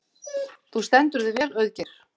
Þú stendur þig vel, Auðgeir!